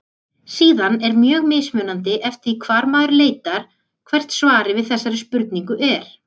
Síðan er mjög mismunandi eftir því hvar maður leitar hvert svarið við þessari spurningu er.